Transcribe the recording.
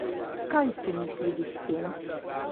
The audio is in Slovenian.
Kaj so mislili s tem?